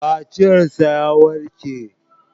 Kaciyar shi ya warke.